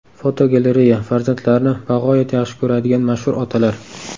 Fotogalereya: Farzandlarini bag‘oyat yaxshi ko‘radigan mashhur otalar.